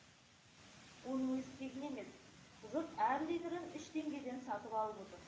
оның өзі тегін емес жұрт әр литрін үш теңгеден сатып алып отыр